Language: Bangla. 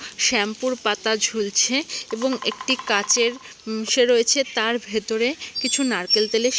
শ্যাম্পু -র পাতা ঝুলছে এবং একটি কাঁচের উম ইসে রয়েছে তার ভেতরে কিছু নারকেল তেলের --